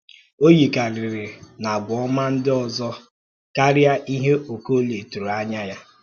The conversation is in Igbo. Ó yíkàrịrị na àgwà ọma ndị ọzọ̀ ya kària ìhè Okólie tụrụ̀ ànyá ya